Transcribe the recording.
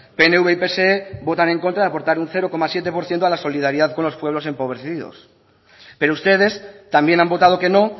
pnv y pse votan en contra de aportar un cero coma siete por ciento a la solidaridad con los pueblos empobrecidos pero ustedes también han votado que no